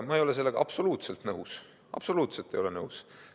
Ma ei ole sellega absoluutselt nõus, absoluutselt ei ole nõus.